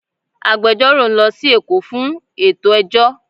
Agbẹjọ́rò ń lọ sí Èkó fún ètò ẹjọ́